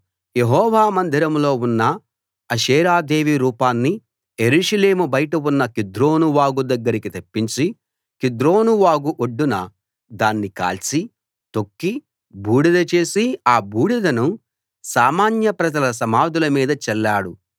యెహోవా మందిరంలో ఉన్న అషేరాదేవి రూపాన్ని యెరూషలేము బయట ఉన్న కిద్రోను వాగు దగ్గరికి తెప్పించి కిద్రోను వాగు ఒడ్డున దాన్ని కాల్చి తొక్కి బూడిద చేసి ఆ బూడిదను సామాన్య ప్రజల సమాధుల మీద చల్లాడు